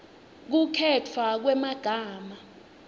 kukhetfwa kwemagama